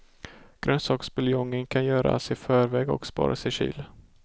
Grönsaksbuljongen kan göras i förväg och sparas i kyl.